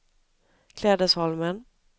Klädesholmen